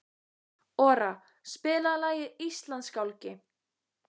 Ora, spilaðu lagið „Íslandsgálgi“.